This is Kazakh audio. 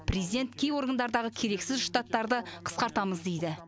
президент кей органдардағы керексіз штаттарды қысқартамыз дейді